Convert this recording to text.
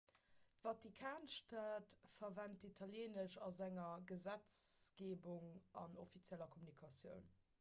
d'vatikanstad verwent italieenesch a senger gesetzgeebung an offizielle kommunikatiounen